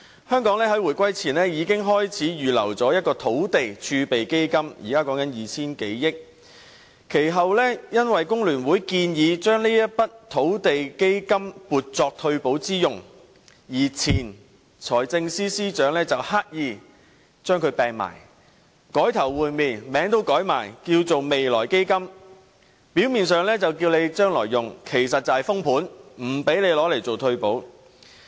香港在回歸前已經開始預留土地儲備基金，現在已有 2,000 多億元，其後由於工聯會建議將這筆土地儲備基金撥作退休保障之用，前財政司司長便刻意將這筆錢收起，改頭換臉，連名字也改為"未來基金"，表面上是預留作未來用途，實質是"封盤"，不讓我們動用這筆錢來推行退休保障。